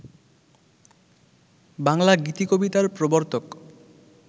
বাংলা গীতিকবিতার প্রবর্তক